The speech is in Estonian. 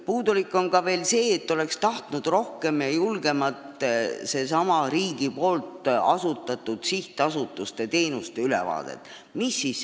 Puudu on ka see, et oleks tahtnud rohkemat ja julgemat riigi asutatud sihtasutuste teenuste ülevaadet.